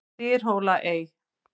Dyrhólaey